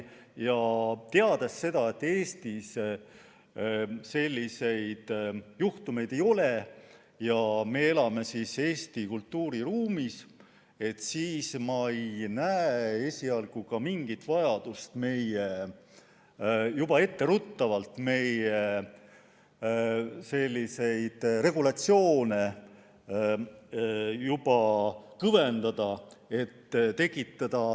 Teades, et Eestis selliseid juhtumeid pole olnud ja et me elame Eesti kultuuriruumis, ei näe ma esialgu mingit vajadust juba etteruttavalt meie regulatsioone rangemaks muuta.